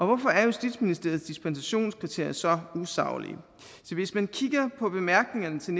hvorfor er justitsministeriets dispensationskriterier så usaglige hvis man kigger på bemærkningerne til